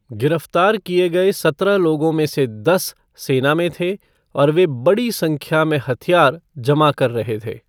गिरफ़्तार किए गए सत्रह लोगों में से दस सेना में थे और वे "बड़ी संख्या में हथियार" जमा कर रहे थे।